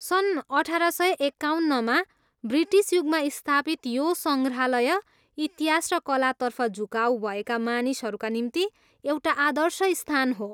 सन् अठार सय एकाउन्नमा ब्रिटिस युगमा स्थापित यो सङ्ग्राहलय इतिहास र कलातर्फ झुकाउ भएका मानिसहरूका निम्ति एउटा आदर्श स्थान हो।